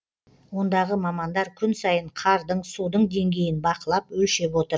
ондағы мамандар күн сайын қардың судың денгейін бақылап өлшеп отыр